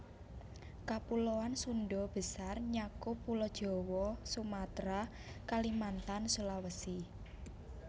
Kapuloan Sundha Besar nyakup Pulo Jawa Sumatra Kalimantan Sulawesi